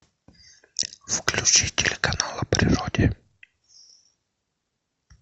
включи телеканал о природе